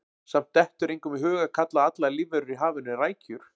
Samt dettur engum í hug að kalla allar lífverur í hafinu rækjur.